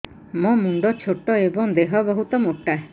ମୋ ମୁଣ୍ଡ ଛୋଟ ଏଵଂ ଦେହ ବହୁତ ମୋଟା